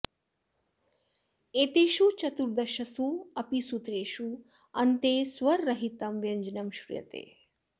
एतेषु चतुर्दशसु अपि सूत्रेषु अन्ते स्वररहितं व्यञ्जनं श्रूयते